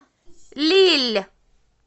лилль